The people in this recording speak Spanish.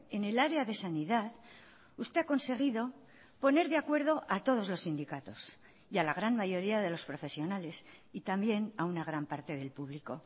en el área de sanidad usted ha conseguido poner de acuerdo a todos los sindicatos y a la gran mayoría de los profesionales y también a una gran parte del público